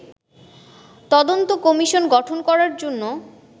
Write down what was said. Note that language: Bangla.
তদন্ত কমিশন গঠন করার জন্য